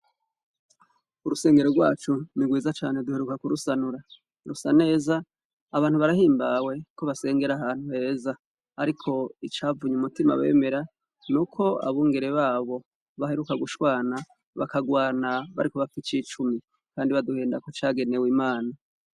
Urusengero rwacu nigwiza cane duheruka ku rusanura rusa neza abantu barahimbawe ko basengera ahantu heza, ariko icavunye umutima bemera ni uko abungere babo baheruka gushwana bakagwana bariko bapfa icicumi, kandi baduhenda ku cagenewe imana.